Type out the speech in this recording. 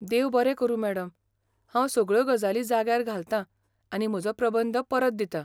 देव बरें करूं मॅडम, हांव सगळ्यो गजाली जाग्यार घालतांआनी म्हजो प्रबंध परत दितां.